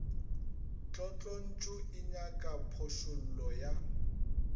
tlotlontšu e nyaka phošollo ya